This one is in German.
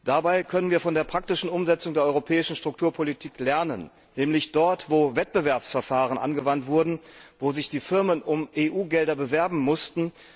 Dabei können wir von der praktischen Umsetzung der europäischen Strukturpolitik lernen, nämlich dort, wo Wettbewerbsverfahren angewandt wurden, wo sich die Firmen um EU Gelder bewerben mussten.